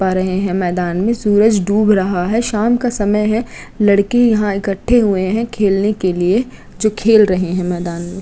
पा रहे है मैदान में सूरज डूब रहा है। शाम का समय है। लड़के यहां इकट्ठे हुए हैं खेलने के लिए जो खेल रहे हैं मैदान में।